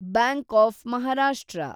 bank of Maharashtra